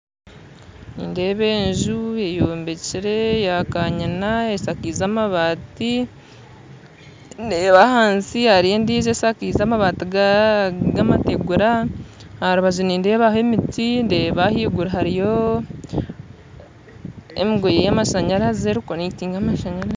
Nindeeba enju eyombikire ya kanyina eshakiize amabaati ndeeba hansi hariyo endijo eshakize amabaati gamategura aha rubaju nindeebaho emiti ndeeba haiguru hariyo emigoye yamashanyarazi erukukonekitinga amashanyarazi